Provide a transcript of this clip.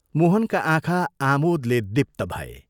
मोहनका आँखा आमोदले दीप्त भए।